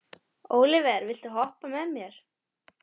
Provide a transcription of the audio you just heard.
Ólíver, viltu hoppa með mér?